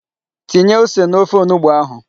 Tinye ose n'ofe onugbu ahụ.